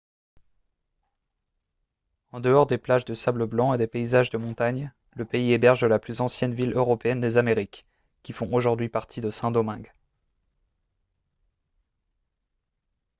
en dehors des plages de sable blanc et des paysages de montagne le pays héberge la plus ancienne ville européenne des amériques qui font aujourd'hui partie de saint-domingue